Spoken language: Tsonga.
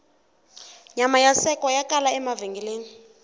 nyama ya sekwa ya kala emavhengeleni